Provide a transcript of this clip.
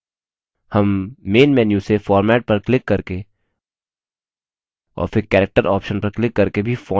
हम main menu से format पर क्लिक करके और फिर character option पर क्लिक करके भी font को बदल सकते हैं